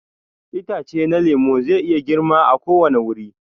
Itace na lemu zai iya girma a ko wani wuri.